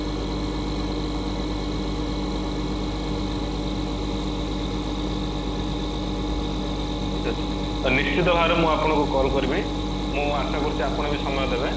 ତ ନିଶ୍ଚିନ୍ତ ଭାବରେ ମୁ ଆପଣଙ୍କୁ କଲ କରିବି ମୁଁ ଆଶା କରୁଚି ଆପଣ ବି ସମୟ ଦେବେ